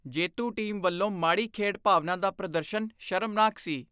ਜੇਤੂ ਟੀਮ ਵੱਲੋਂ ਮਾੜੀ ਖੇਡ ਭਾਵਨਾ ਦਾ ਪ੍ਰਦਰਸ਼ਨ ਸ਼ਰਮਨਾਕ ਸੀ।